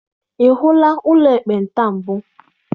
Ị hụla ụlọ ekpenta mbụ?